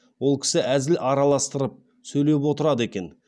ол кісі әзіл араластырып сөйлеп отырады екен